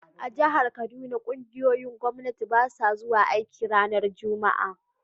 A'jihar Kaduna, ƙungiyoyin Gwamnati basu zuwa aiki ranan Juma'a.